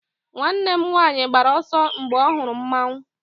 nwanne m nwanyi gbara ọsọ, mgbe ọ hụrụ mmanwu